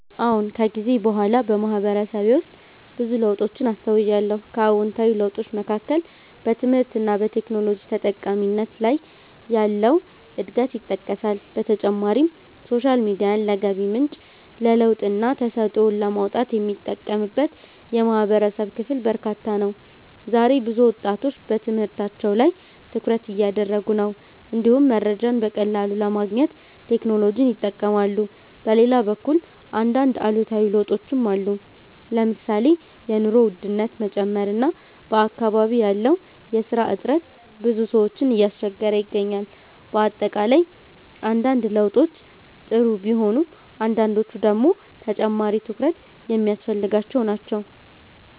አዎን። ከጊዜ በኋላ በማህበረሰቤ ውስጥ ብዙ ለውጦችን አስተውያለሁ። ከአዎንታዊ ለውጦች መካከል በትምህርት እና በቴክኖሎጂ ተጠቃሚነት ላይ ያለው እድገት ይጠቀሳል። በተጨማሪም ሶሻል ሚዲያን ለገቢ ምንጭ፣ ለለውጥና ተሰጥኦን ለማውጣት የሚጠቀምበት የማህበረሰብ ክፍል በርካታ ነው። ዛሬ ብዙ ወጣቶች በትምህርታቸው ላይ ትኩረት እያደረጉ ነው፣ እንዲሁም መረጃን በቀላሉ ለማግኘት ቴክኖሎጂን ይጠቀማሉ። በሌላ በኩል አንዳንድ አሉታዊ ለውጦችም አሉ። ለምሳሌ የኑሮ ውድነት መጨመር እና በአካባቢ ያለው የስራ እጥረት ብዙ ሰዎችን እያስቸገረ ይገኛል። በአጠቃላይ አንዳንድ ለውጦች ጥሩ ቢሆኑም አንዳንዶቹ ደግሞ ተጨማሪ ትኩረት የሚያስፈልጋቸው ናቸው።